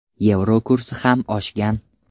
Yevro kursi ham oshgan.